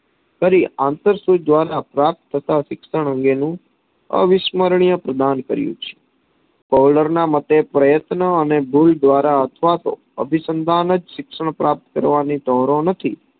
કરી આંતર સુજ દ્વારા પ્રાપ્ત કરતા શિક્ષણ અંગે નું અવિષમરણીય પ્રદાન કર્યું છે. કોહલર ના મતે પ્રયત્નો અને દ્વારા અથવાતો અભિસન્દાન જ શિક્ષણ પ્રાપ્ત કરવાની કરોવ નથી